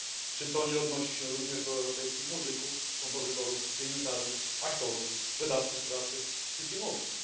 Czy to nie odnosi się również do europejskich muzyków, kompozytorów, dziennikarzy, aktorów, wydawców prasy czy filmowców?